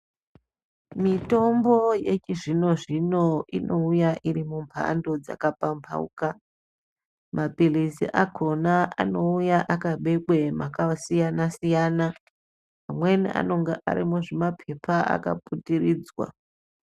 Mitombo yechizvino zvino inouya iri mumbando dzakapambauka mapilizi akona anouya akabekwe makasiyana siyana. Amweni anenge ari muzvimapepa akaputiridzwa.